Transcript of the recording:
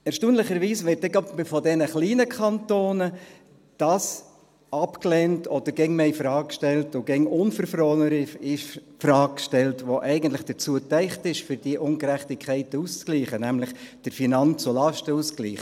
Erstaunlicherweise wird dann gerade von diesen kleinen Kantonen das abgelehnt – oder immer mehr infrage gestellt und immer unverfrorener infrage gestellt –, was eigentlich dafür gedacht ist, diese Ungerechtigkeiten auszugleichen: nämlich der Finanz- und Lastenausgleich.